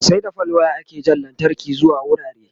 sai da fal wire ake Jan lantarki zuwa wurare